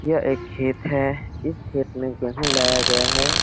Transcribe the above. यह एक खेत है । इस खेत में गेहूं लगाया गया है ।